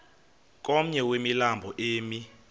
komnye wemilambo emi